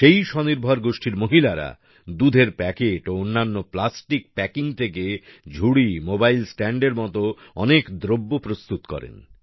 সেই স্বনির্ভর গোষ্ঠীর মহিলারা দুধের প্যাকেট ও অন্যান্য প্লাস্টিক প্যাকিং থেকে ঝুড়ি মোবাইল স্ট্যান্ড এর মত অনেক দ্রব্য প্রস্তুত করেন